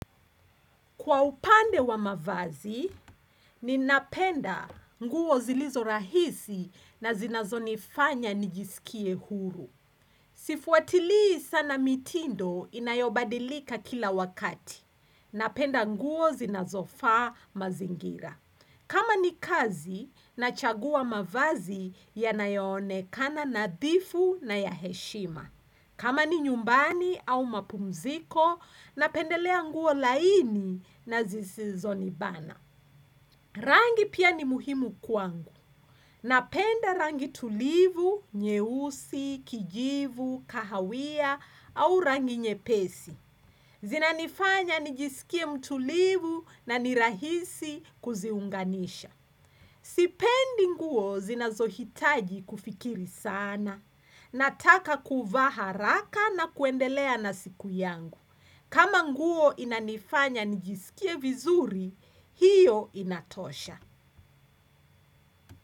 Kwa upande wa mavazi, ni napenda nguo zilizo rahisi na zinazo nifanya nijisikie huru. Sifuatili sana mitindo inayobadilika kila wakati. Napenda nguo zinazofaa mazingira. Kama ni kazi, nachagua mavazi yanayonekana nadhifu na ya heshima. Kama ni nyumbani au mapumziko, napendelea nguo laini na zisizo nibana. Rangi pia ni muhimu kwangu. Napenda rangi tulivu, nyeusi, kijivu, kahawia au rangi nyepesi. Zinanifanya nijisikie mtulivu na nirahisi kuziunganisha. Sipendi nguo zinazohitaji kufikiri sana. Nataka kuvaa haraka na kuendelea na siku yangu. Kama nguo inanifanya nijisikie vizuri, hiyo inatosha.